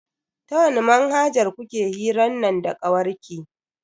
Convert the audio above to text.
Ta wani manhajar kuke hiran nan da kawarki?